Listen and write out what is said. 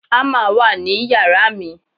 hammer wa ni yàrá mi